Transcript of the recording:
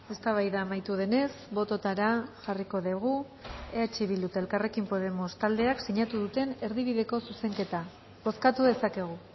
eztabaida amaitu denez bototara jarriko dugu eh bildu eta elkarrekin podemos taldeak sinatu duten erdibideko zuzenketa bozkatu dezakegu